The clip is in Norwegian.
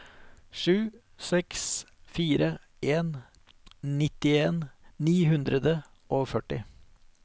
sju seks fire en nittien ni hundre og førti